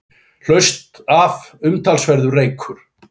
Hlaust af umtalsverður reykur